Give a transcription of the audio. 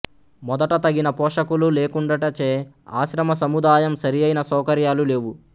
మొదట తగిన పోషకులు లేకుండుటచే ఆశ్రమ సముదాయం సరియైన సౌకర్యాలు లేవు